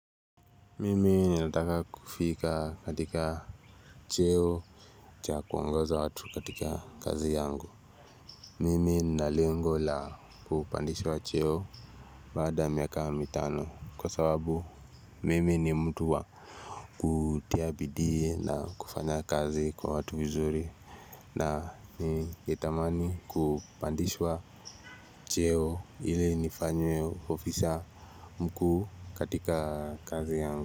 Mimi ninataka kufika katika cheo cha kuongoza watu katika kazi yangu Mimi ninalengo la kupandishwa cheo baada ya miaka mitano kwa sababu Mimi ni mtu wa kutia bidii na kufanya kazi kwa watu vizuri na ningetamani kupandishwa cheo ili nifanywe ofisa mkuu katika kazi yangu.